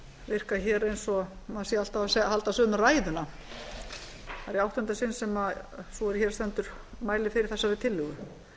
virka eins og maður sé alltaf að halda sömu ræðuna það er í áttunda sinn sem sú er hér stendur mælir fyrir þessari tillögu